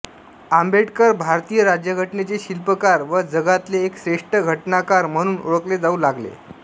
आंबेडकर भारतीय राज्यघटनेचे शिल्पकार व जगातले एक श्रेष्ठ घटनाकार म्हणून ओळखले जाऊ लागले